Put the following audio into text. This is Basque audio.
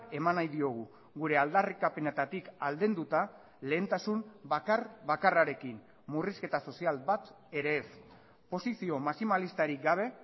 eman nahi diogu gure aldarrikapenetatik aldenduta lehentasun bakar bakarrarekin murrizketa sozial bat ere ez posizio maximalistarik gabe